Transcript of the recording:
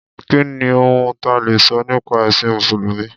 Kí ni ohun ta lè sọ nípa ẹ̀sìn Mùsùlùmí?